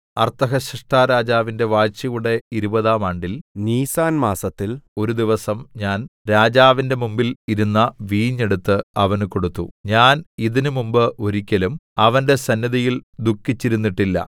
അർത്ഥഹ്ശഷ്ടാരാജാവിന്റെ വാഴ്ചയുടെ ഇരുപതാം ആണ്ടിൽ നീസാൻ മാസത്തിൽ ഒരു ദിവസം ഞാൻ രാജാവിന്റെ മുമ്പിൽ ഇരുന്ന വീഞ്ഞ് എടുത്ത് അവന് കൊടുത്തു ഞാൻ ഇതിന് മുമ്പ് ഒരിക്കലും അവന്റെ സന്നിധിയിൽ ദുഃഖിച്ചിരുന്നിട്ടില്ല